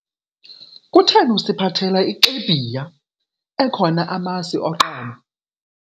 Kutheni usiphathela ixibhiya ekhona amasi oqobo?